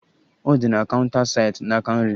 Ọ dị na counta site n'aka nri.